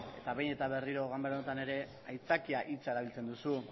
eta behin eta berriro ganbara honetan ere aitzakia hitza erabiltzen duzu